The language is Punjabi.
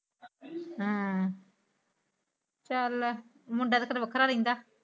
ਹਮ ਚਾਲ ਮੁੰਡਾ ਤਾ ਤੇਰਾ ਵਖਰਾ ਰਹਿੰਦਾ।